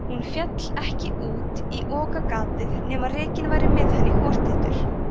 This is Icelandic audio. hún féll ekki út í okagatið nema rekinn væri með henni hortittur